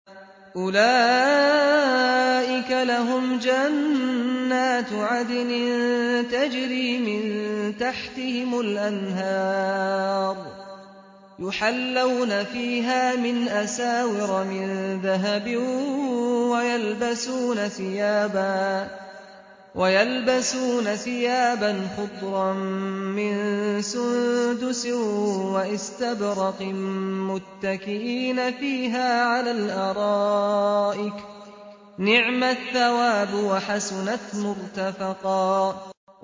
أُولَٰئِكَ لَهُمْ جَنَّاتُ عَدْنٍ تَجْرِي مِن تَحْتِهِمُ الْأَنْهَارُ يُحَلَّوْنَ فِيهَا مِنْ أَسَاوِرَ مِن ذَهَبٍ وَيَلْبَسُونَ ثِيَابًا خُضْرًا مِّن سُندُسٍ وَإِسْتَبْرَقٍ مُّتَّكِئِينَ فِيهَا عَلَى الْأَرَائِكِ ۚ نِعْمَ الثَّوَابُ وَحَسُنَتْ مُرْتَفَقًا